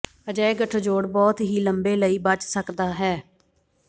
ਅਜਿਹੇ ਗੱਠਜੋੜ ਬਹੁਤ ਹੀ ਲੰਬੇ ਲਈ ਬਚ ਸਕਦਾ ਹੈ